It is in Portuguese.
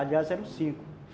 Aliás, eram cinco.